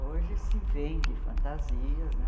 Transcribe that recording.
Hoje se vende fantasias, né?